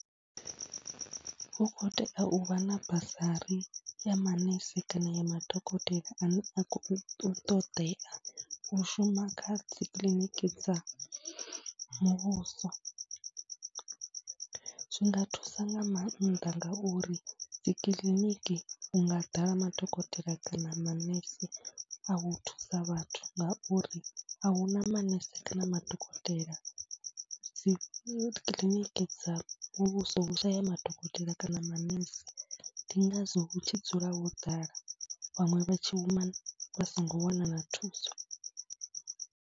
Hu khou tea u vha na basari ya manese kana ya madokotela ane a khou ṱoḓea u shuma kha dzi kiḽiniki dza muvhuso. Zwi nga thusa nga maanḓa ngauri dzi kiḽiniki hu nga ḓala madokotela kana manese a u thusa vhathu ngauri a hu na manese kana madokotela. Dzi kiḽiniki dza muvhuso hu shaya madokotela kana manese, ndi ngazwo hu tshi dzula ho ḓala vhaṅwe vha tshi human vha songo wana na thuso.